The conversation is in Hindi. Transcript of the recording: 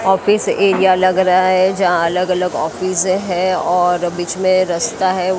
ऑफिस एरिया लग रहा है जहां अलग अलग ऑफिस हैं और बीच में रस्ता हैं।